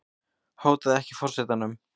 Hótaði ekki forsetanum